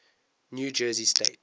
new jersey state